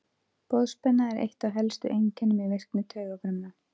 Boðspenna er eitt af helstu einkennum í virkni taugafrumna.